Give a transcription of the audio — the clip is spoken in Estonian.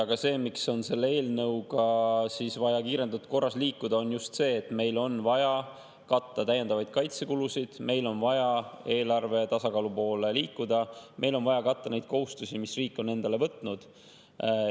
Aga see, miks on selle eelnõuga vaja kiirendatud korras liikuda, on just see, et meil on vaja katta täiendavaid kaitsekulusid, meil on vaja eelarvetasakaalu poole liikuda, meil on vaja katta neid kohustusi, mis riik on endale võtnud.